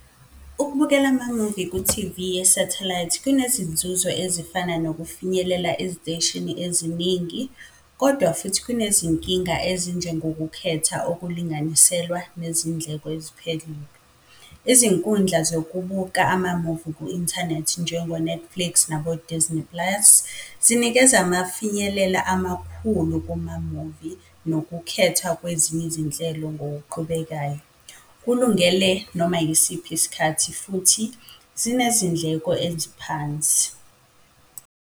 Ukubukela amamuvi ku-T_V yesethelayithi kunezinzuzo ezifana nokufinyelela eziteshini eziningi, kodwa futhi kunezinkinga ezinjengokukhetha, okulinganiselwa nezindleko eziphelele. Izinkundla zokubuka amamuvi ku-inthanethi, njengo-Netflix nabo-Disney Plus, zinikeza amafinyelela amakhulu kumamuvi nokukhethwa kwezinye izinhlelo ngokuqhubekayo. Kulungele noma yisiphi isikhathi futhi zinezindleko eziphansi.